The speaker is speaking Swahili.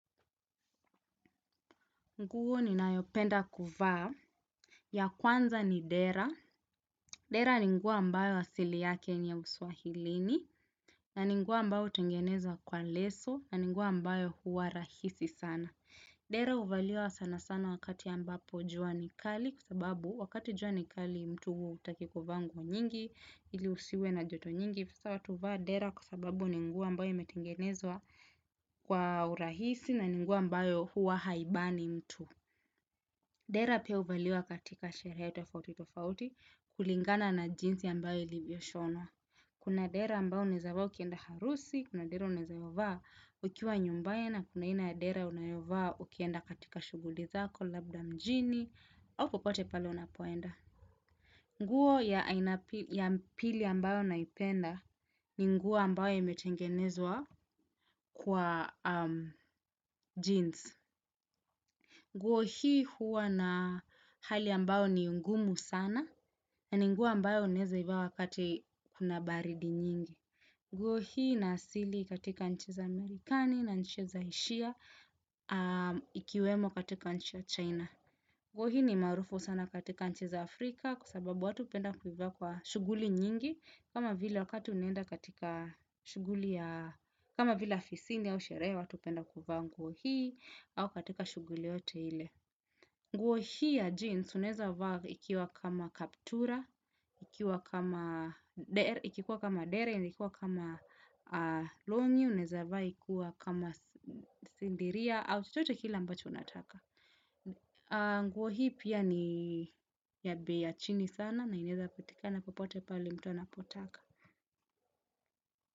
Nguo ninayopenda kuvaa ya kwanza ni dera. Dera ni nguo ambayo asili ya Kenya uswahilini na nguo ambayo hutengeneza kwa leso na nguo ambayo huwa rahisi sana. Dera huvaliwa sana sana wakati ambapo jua ni kali kwa sababu wakati jua ni kali mtu hutaki kuvaa nguo nyingi ili usiwe na joto nyingi. Sasa watu huvaa dera kwa sababu ni nguo ambayo imetengenezwa kwa urahisi na ni nguo ambayo huwa haibani mtu. Dera pia huvaliwa katika sherehe tofauti tofauti kulingana na jinsi ambato ilivyoshona. Kuna dera ambao unaweza vaa ukienda harusi, kuna dera unayovaa ukiwa nyumbani na kuna aina ya dera unayovaa ukienda katika shughuli zako, labda mjini, au popote pale unapoenda. Nguo ya pili ambao naipenda ni nguo ambayo imetengenezwa kwa jeans. Nguo hii huwa na hali ambayo ni ngumu sana. Na ni nguo ambayo unaweza ivaa wakati kuna baridi nyingi. Nguo hii ina asili katika nchi za Amerikani na nchi za Asia. Ikiwemo katika nchi ya china. Nguo hii ni maarufu sana katika nchi za Afrika. Kwa sababu watu hupenda kuivaa kwa shughuli nyingi kama vile wakati unaenda katika shughuli ya kama vile ofisini au sherehe watu hupenda kuvaa nguo hii au katika shughuli yoyote ile. Nguo hii ya jeans unaweza vaa ikiwa kama kaptura, ikiwa kama ikiwa kama dera, ikiwa kama longi, unaweza vaaa ikiwa kama sindiria, au chochote kila ambacho unataka. Nguo hii pia ni ya bei ya chini sana, na inaweza patikana popote pale mtu anapotaka.